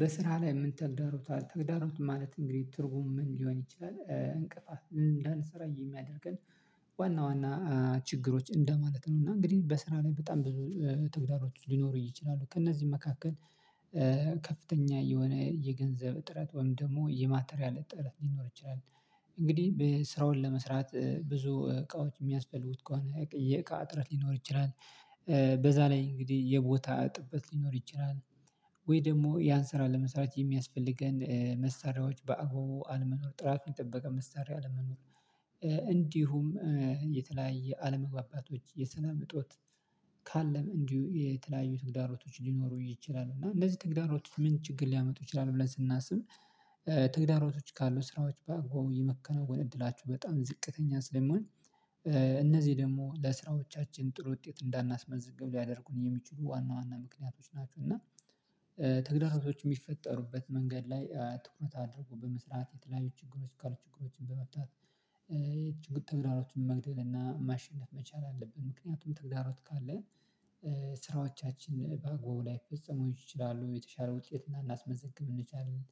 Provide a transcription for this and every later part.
በስራ ላይ ምን ተግዳሮት ተግዳሮት ማለት እንግዲህ ትርጉም ምን ሊሆን ይችላል እንቅፋት ምን እንዳንሰራ የሚያደርገን። ዋና ዋና ችግሮች እንደማለት ነው እና እንግዲህ በስራ ላይ በጣም ብዙ ትግዳሮች ሊኖሩ ይችላሉ ከእነዚህ መካከል። ከፍተኛ የሆነ የገንዘብ እጥረት ወይም ደግሞ የማተሪያል እጥረት ሊኖር ይችላል። እንግዲህ ስራውን ለመስራት ብዙ እቃዎች የሚያስፈልጉት ከሆነ የእቃ ጥረት ሊኖር ይችላል። በዛ ላይ እንግዲህ የቦታ እጥረት ሊኖር ይችላል። ወይ ደግሞ ያን ስራ ለመስራት የሚያስፈልገን መሳሪያዎች በአግባቡ አለመኖር ጥራት የጠበቀ መሳሪያ አለመኖር። እንዲሁም የተለያየ አለመግባባቶች የሰላም እጦት። ካለም እንዲሁ የተለያየ ትግዳሮቶች ሊኖሩ ይችላሉ እና እንደዚህ ተግዳሮቶች ምን ችግር ሊያመጡ ይችላሉ ብለን ስናስብ። ተግዳሮቶች ካሉ ስራዎች በአግባቡ የመከነው ጎን እድላችሁ በጣም ዝቅተኛ ስለሚሆን። እነዚህ ደግሞ ለስራዎቻችን ጥሩ ውጤት እንዳናስመዝግብ ሊያደርጉን የሚችሉ ዋና ዋና ምክንያቶች ናቸው። እና ተግዳሮቶች የሚፈጠሩበት መንገድ ላይ ትኩረት አድርጎ በመስራት የተለያዩ ችግሮች ቃሉ ችግሮችን በመታት። ችግር ተግዳሮችን መግደል እና ማሸለፍ መቻል አለብን ምክንያቱም ተግዳሮች ካለን። ስራዎቻችን ላይ ፈጽሞ ይችላሉ የተሻለ ውጤት እና ላናስመዘግብ እንችላለን።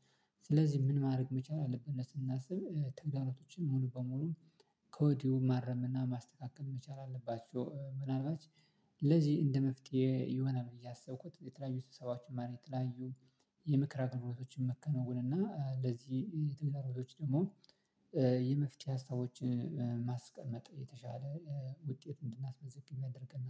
ስለዚህ ምን ማድረግ መቻል አለብን ስናስብ ትግዳሎቹን ሙሉ በሙሉ ከወዲሁ ማረም እና ማስተካከል መቻል አለባቸው። ምናልባት ለዚህ እንደ መፍትሄ የሆነ ነው እያሰብኩት የተለያዩ ሰባችሁን ማድረግ የተለያዩ የምክራቅ ኖሮቶችን መከነውን እና ለዚህ የተመረጡት ደግሞ የመፍቻ ሀሳቦችን። የተሻለ ውጤት እንድናስመዝግኝ መደረግና